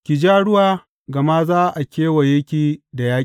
Ki ja ruwa gama za a kewaye ki da yaƙi.